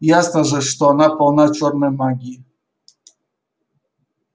ясно же что она полна чёрной магии